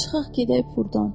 Çıxaq gedək burdan.